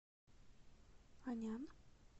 анян